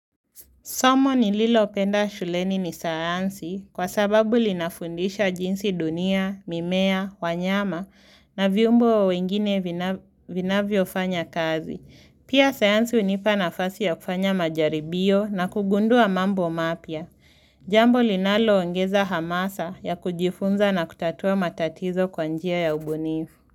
Somo nililopenda shuleni ni sayansi kwa sababu linafundisha jinsi dunia, mimea, wanyama na viumbe wengine vinavyofanya kazi. Pia sayansi hunipa nafasi ya kufanya majaribio na kugundua mambo mapya Jambo linaloongeza hamasa ya kujifunza na kutatua matatizo kwa njia ya ubunifu.